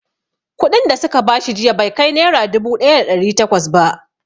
Kuɗin da su ka bashi jiya bai kai nera dubu ɗaya da ɗari takwas ba